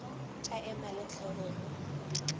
tša ema le hlogo go